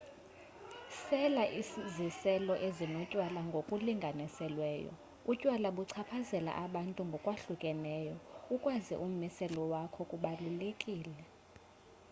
sela iziselo ezinotywala ngokulinganiselweyo utywala buchaphazela abantu ngokwahlukeneyo ukwazi ummiselo wakho kubalulekile